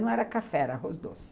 Não era café, era arroz doce.